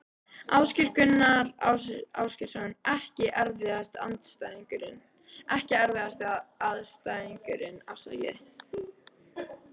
Ásgeir Gunnar Ásgeirsson EKKI erfiðasti andstæðingur?